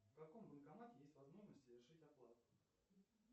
в каком банкомате есть возможность совершить оплату